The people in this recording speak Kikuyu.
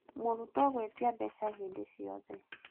mũrutwo gũĩtia mbeca hĩndĩ ciothe.